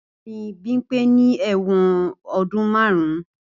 Bẹẹni, Bimpe ni ẹwọn ọdun marun.